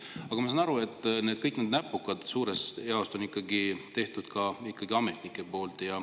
Aga ma saan aru, et kõik need näpukad on suuresti ikkagi ametnike tehtud.